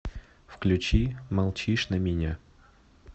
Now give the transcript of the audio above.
включи молчишь на меня